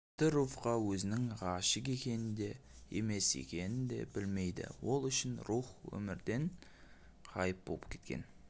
тіпті руфьқа өзінің ғашық екенін де емес екенін де білмейді ол үшін руфь өмірден ғайып боп кеткен